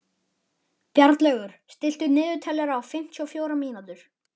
Bjarnlaugur, stilltu niðurteljara á fimmtíu og fjórar mínútur.